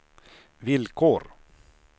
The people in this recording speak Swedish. villkor